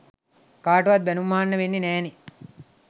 කාටවත් බැනුම් අහන්න වෙන්නෙ නෑ නේ.